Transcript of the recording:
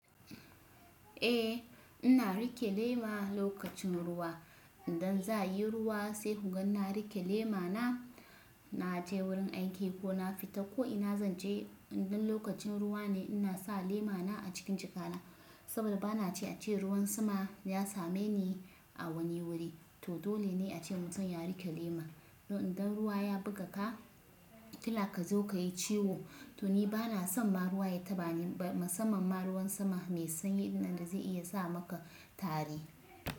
Eh ina riƙe lema lokacin ruwa. Idan za a yi ruwa sai kun ga na riƙe lema na, na je wurin aiki ko na fita ko ina zan je idan lokacin ruwa ne ina sa lema na a cikin jakana saboda bana ce a ce ruwan sama ya same ni a wani wuri. To dole ne ace mutum ya riƙe lema. To idan ruwa ya buga ka, kila ka zo ka yi ciwo. To ni bana son ma ruwa ya taɓa ni ba, musamman ma ruwan sama mai sanyi ɗin da zai iya sa maka tari.